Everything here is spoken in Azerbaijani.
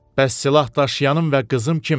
Bəs silahdaşıyanım və qızım kimdir?